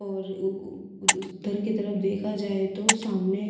और उ उधर की तरफ देखा जाए तो सामने--